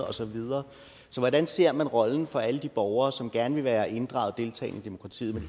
og så videre så hvordan ser man rollen for alle de borgere som gerne vil være inddraget og deltage i demokratiet men